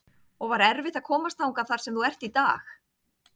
og var erfitt að komast þangað þar sem þú ert í dag?